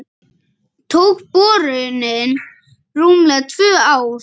Tók borunin rúmlega tvö ár.